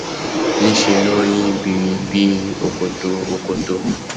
nṣe ló nyí birir bí òkòtó òkòtó